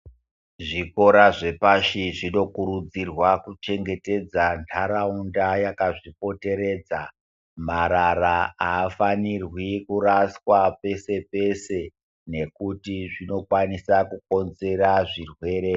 Zvikora zvepashi zvinokurudzirwa kuchengetedza nharaunda yakazvipoteredza, marara aafanirwi kuraswa pese pese nekuti zvinokwanisa kukonzera zvirwere.